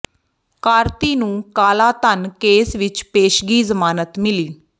ਕਾਰਤੀ ਨੂੰ ਕਾਲਾ ਧਨ ਕੇਸ ਵਿੱਚ ਪੇਸ਼ਗੀ ਜ਼ਮਾਨਤ ਮਿਲੀ